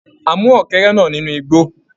A mú ọ́kẹ́rẹ́ náà nínú igbó.